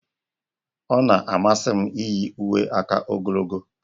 Ọ na-amasị m iyi uwe aka ogologo